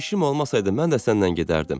İşim olmasaydı mən də sənlə gedərdim.